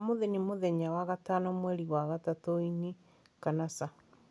Ũmũthĩ nĩ mũthenya wa gatano mweri wa gatatũ ĩĩ kana aca